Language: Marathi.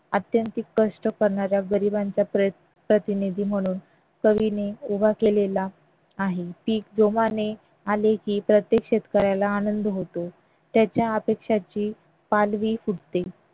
अत्यंत कष्ट करणारा गरिबांचा प्रतिनिधी म्हणून कवीने उभा केलेला आहे. पीक जोमाने आले की प्रत्येक शेतकऱ्याला आनंद होतो त्याच्या अपेक्षांची पालवी फुटते.